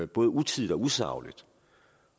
både utidigt og usagligt